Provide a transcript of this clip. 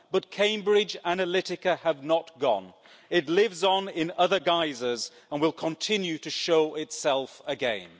But Cambridge Analytica has not gone, it lives on in other guises and will continue to show itself again.